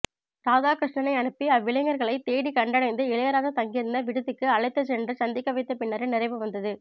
ராதாகிருஷ்ணனை அனுப்பி அவ்விளைஞர்களைத் தேடிக் கண்டடைந்து இளையராஜா தங்கியிருந்த விடுதிக்கு அழைத்துச்சென்று சந்திக்கவைத்தபின்னரே நிறைவு வந்தது